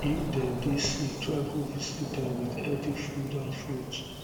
um if dem um de um sick try go visit dem with healthy food and fruits